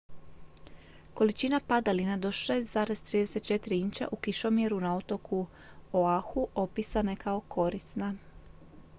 "količina padalina do 6,34 inča u kišomjeru na otoku oahu opisana je kao "korisna"".